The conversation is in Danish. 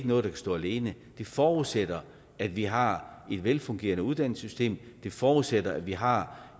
noget der kan stå alene at det forudsætter at vi har et velfungerende uddannelsessystem at det forudsætter at vi har